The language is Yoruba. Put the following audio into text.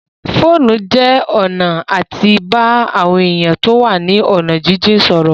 Fóònù jẹ́ ọ̀nà àti bá àwọn èèyàn tó wà ní ọ̀nà jínjìn sọ̀rọ̀